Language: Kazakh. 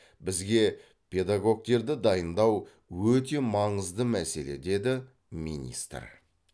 бізге педагогтерді дайындау өте маңызды мәселе деді министр